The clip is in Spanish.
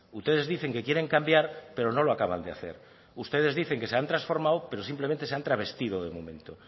ustedes dicen que quieren cambiar pero no lo acaban de hacer ustedes dicen que se han transformado pero simplemente se han trasvertido de momento